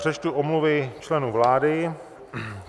Přečtu omluvy členů vlády.